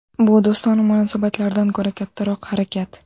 Bu do‘stona munosabatlardan ko‘ra kattaroq harakat.